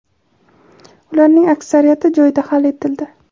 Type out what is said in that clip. ularning aksariyati joyida hal etildi.